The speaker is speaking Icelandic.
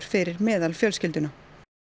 fyrir meðalfjölskylduna